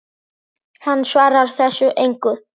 Hann svarar þessu engu.